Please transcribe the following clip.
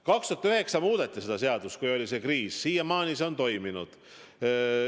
2009. aastal, kui oli ka kriis, muudeti seda seadust ja siiamaani see on toiminud.